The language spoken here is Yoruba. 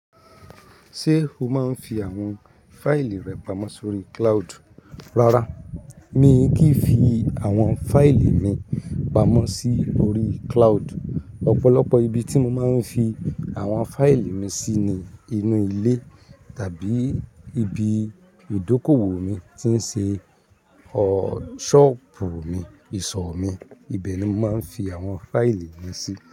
Ṣé o máa ń fi àwọn fáìlì rẹ pamọ́ sórí cloud? Rárá, mi kì í fi àwọn fáìlì mi pamọ́ sí orí cloud. Ọ̀pọ̀lọpọ̀ ibi tí mo máa ń fi àwọn fáìlì mi sí ni inú ilé tàbí ibi ìdókòwò mi tí ń ṣe ṣọ́ọ̀bù mi, ìsọ̀ mi, ibẹ̀ ni mo máa ń fi àwọn fáìlì mi sí.